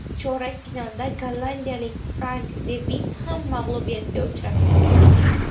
Chorak finalda gollandiyalik Frank De Vit ham mag‘lubiyatga uchratildi.